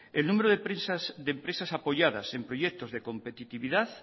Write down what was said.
el número de empresas apoyadas en proyectos de competitividad